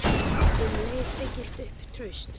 Um leið byggist upp traust.